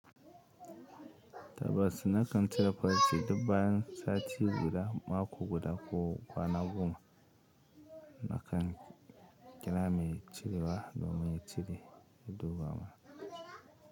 Tabbas, nakan cire farci duk bayan sati guda, mako guda ko kwana goma. Nakan. Kira mai cirewa domin ya cire dubama.